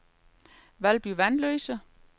Valby Vanløse